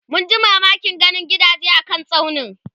munji mamakin ganin gidaje a kan tsaunin